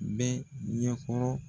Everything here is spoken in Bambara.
N bɛ ɲɛ kɔrɔ